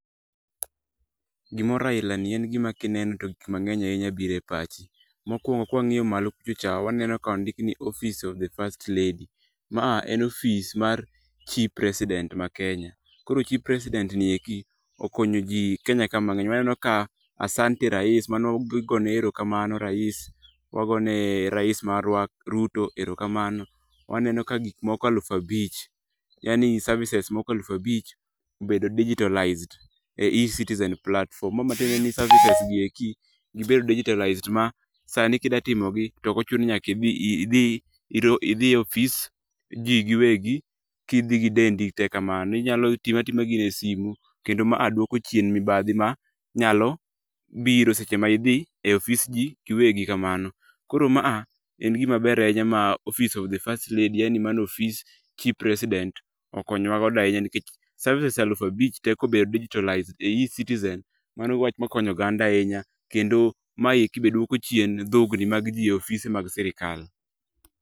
Gimoro aila ni en gima kineno to gik mang'eny ahinya biro e pachi. Mokuongo kwang'iyo malo kuchocha waneno ka ondik ni office of the first lady. Ma en ofis mar chi president mar Kenya. Koro chi president[c]s ni eki okonyo ji Kenya ka mang'eny. Waneno ka asante Rais. Mano igone erokamano Rais. Wagone Rais[c]s marwa Ruto erokamano. Waneno ka gik moko aluf abich, cs]yaani services moko aluf abich, obed digitalized e ecitizen platform. Ma ma tiende ni services gi eki, gibedo digitalized ma sani kida timo gi tok ochuno ni nyaka idhi e ofis ji giwegi kidhi gi dendi tee kamano. Inyalo timo atima gino e sime kendo ma duoko mibadhi ma nyalo biro seche ma idhi e ofis ji iwegi kamano. Koro maa en gimaber ahinya ma office of the first lady en ni mano ofis chi president okonyo wa godo ahinya nikech services aluf abich tee kobedo digitalized e ecitizen, mano wach makonyo oganda ahinya. Kendo maeki be duoko chien dhogni mag ji e ofise mag sirkal.